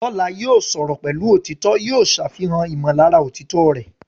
Lọ́la, yóò sọ̀rọ̀ pẹ̀lú òtítọ́, yóò ṣàfihàn ìmọ̀lára òtítọ́ rẹ̀.